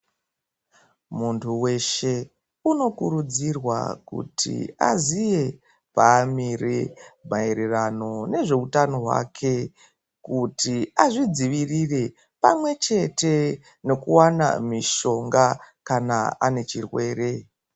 Muntu weshe unokurudzirwa kuti aziye paamire, maererano nezveutano hwake, kuti azvidzivirire pamwe chete nokuwana mishonga kana ane chirwere.